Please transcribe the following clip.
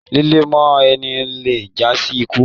Líle mọ ẹni le jasi ikú.